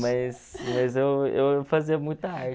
Mas mas eu eu fazia muita arte